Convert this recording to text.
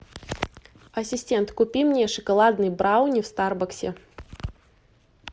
ассистент купи мне шоколадный брауни в старбаксе